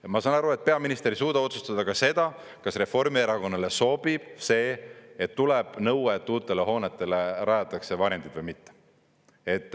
Ja ma saan aru, et peaminister ei suuda otsustada ka seda, kas Reformierakonnale sobib see, et tuleb nõue, et uutele hoonetele rajatakse varjendid või mitte.